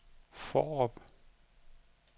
Fårup